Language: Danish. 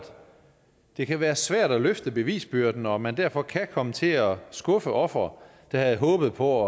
det kan være svært at løfte bevisbyrden og at man derfor kan komme til at skuffe ofre der havde håbet på